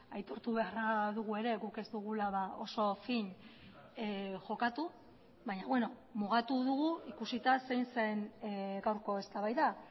aitortu beharra dugu ere guk ez dugula oso fin jokatu baina mugatu dugu ikusita zein zen gaurko eztabaida